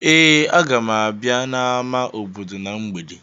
Ee, aga m abịa n'ámá obodo na mgbede.